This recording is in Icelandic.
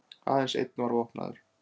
Aðeins einn var vopnaður